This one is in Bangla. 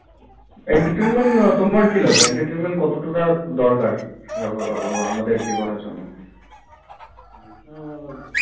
entertainment তোমার কি লাগে entertainment কতটুকু দরকার আমাদের জীবনে জন্য